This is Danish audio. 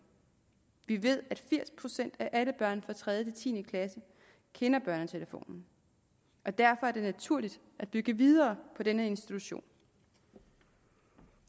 vi ved at firs procent af alle børn fra tredje ti klasse kender børnetelefonen derfor er det naturligt at bygge videre på denne institution